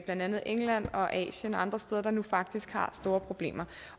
andet england og asien og andre steder der nu faktisk har store problemer